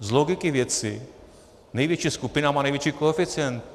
Z logiky věci největší skupina má největší koeficient.